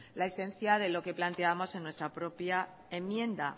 la esencia de lo que planteamos en nuestra propia enmienda